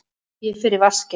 Ég fer í vaskinn.